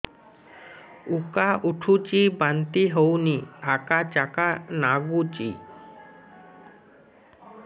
ଉକା ଉଠୁଚି ବାନ୍ତି ହଉନି ଆକାଚାକା ନାଗୁଚି